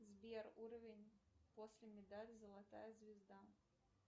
сбер уровень после медаль золотая звезда